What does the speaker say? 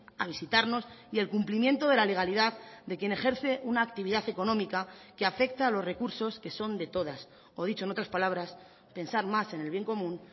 a visitarnos y el cumplimiento de la legalidad de quien ejerce una actividad económica que afecta a los recursos que son de todas o dicho en otras palabras pensar más en el bien común